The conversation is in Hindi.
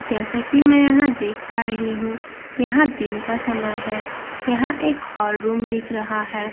जैसा कि मैं देख पा रही हूं यहां दिन का समय है यहां एक हॉल रूम दिख रहा है यहां --